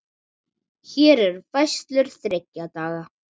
Hér eru færslur þriggja daga.